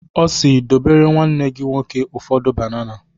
Ọ si "dobere nwanne gi nwoke ụfọdụ banana"